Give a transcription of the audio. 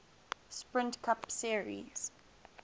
sprint cup series